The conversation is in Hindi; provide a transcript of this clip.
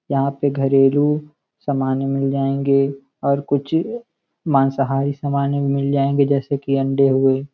जहाँ पे घरेलू सामाने मिल जाएंगे और कुछ मांसाहारी सामाने भी मिल जायेंगे जैसे कि अंडे हुए।